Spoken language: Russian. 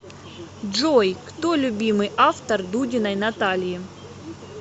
джой кто любимый автор дудиной натальи